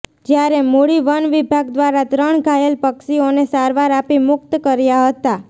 જ્યારે મૂળી વનવિભાગ દ્વારા ત્રણ ઘાયલ પક્ષીઓને સારવાર આપી મુક્ત કર્યા હતા